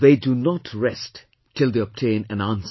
They do not rest till they obtain an answer